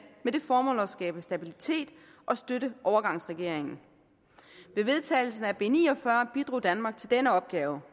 med det formål at skabe stabilitet og støtte overgangsregeringen med vedtagelsen af b ni og fyrre bidrog danmark til denne opgave